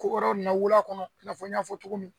Ko wɛrɛw nana wolo a kɔnɔ i n'a fɔ n y'a fɔ cogo min